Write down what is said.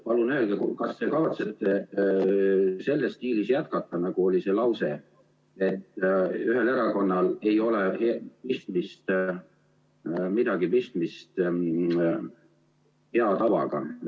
Palun öelge, kas te kavatsete jätkata selles stiilis, nagu oli see lause, et ühel erakonnal ei ole midagi pistmist hea tavaga.